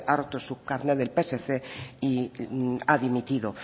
ha roto su carnet del psc y ha dimitido